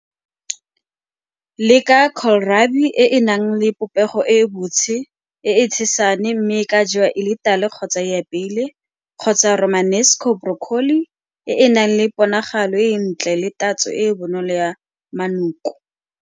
Le ka e e nang le popego e botshe e e tshesane mme e ka jewa e le tala kgotsa e apeilwe, kgotsa romanesco broccoli e e nang le ponagalo e e ntle le tatso e e bonolo ya manoko.